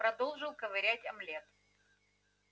продолжил ковырять омлет